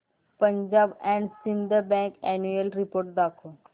Punjab and Sind bank annual report दाखव